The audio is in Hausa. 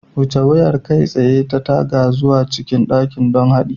Wuce wayar kai tsaye ta taga zuwa cikin dakin don haɗi